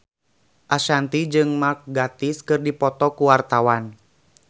Ashanti jeung Mark Gatiss keur dipoto ku wartawan